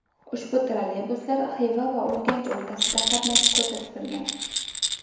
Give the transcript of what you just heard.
Ushbu trolleybuslar Xiva va Urganch o‘rtasida qatnashi ko‘zda tutilgan.